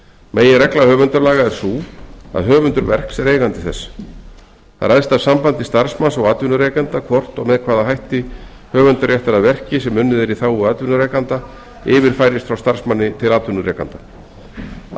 meginregla höfundalaga er sú að höfundur verks er eigandi þess það ræðst af sambandi starfsmanns og atvinnurekanda hvort og með hvaða hætti höfundaréttur að verki sem unnið er í þágu atvinnurekanda yfirfærist frá starfsmanni til atvinnurekanda að